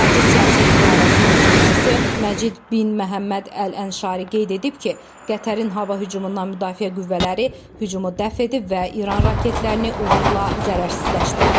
Xarici siyasət idarəsinin sözçüsü Məcid bin Məhəmməd Əl-Ənşari qeyd edib ki, Qətərin hava hücumundan müdafiə qüvvələri hücumu dəf edib və İran raketlərini uğurla zərərsizləşdirib.